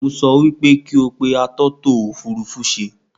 Mo sọ wí pé kí ó pe àtọ́tọ̀-òfurufú-ṣe